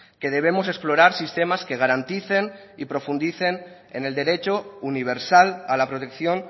que debemos explorar sistemas que garanticen y profundicen en el derecho universal a la protección